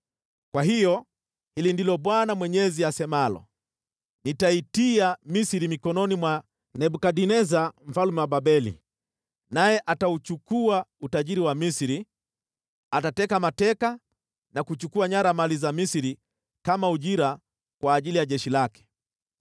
Kwa hiyo hili ndilo Bwana Mwenyezi asemalo: Nitaitia Misri mikononi mwa Nebukadneza mfalme wa Babeli, naye atachukua utajiri wa Misri. Atateka mateka na kuchukua nyara mali za Misri kama ujira kwa ajili ya jeshi lake.